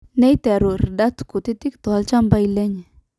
neiterru irr`dat kutitik toolchambai lenye